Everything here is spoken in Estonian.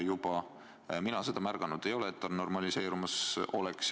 Mina ei ole märganud, et see normaliseerumas on.